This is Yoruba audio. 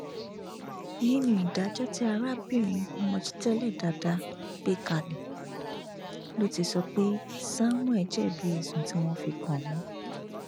nínú ìdájọ tí arábìnrin mojtele dada gbé kalẹ ló ti sọ pé samuel jẹbi ẹsùn tí wọn fi kàn án